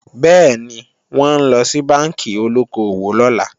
Bẹ́ẹ̀ni, wọ́n ńlọ sí bánkì olóko-òwò lọ́la